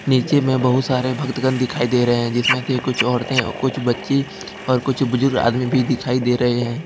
नीचे में बहुत सारे भक्तगण दिखाई दे रहे हैं जिसमें से कुछ औरतें और कुछ बच्चे और कुछ बुजुर्ग आदमी भी दिखाई दे रहे हैं।